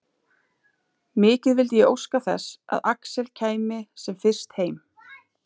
Mikið vildi ég óska þess að Axel kæmi sem fyrst heim.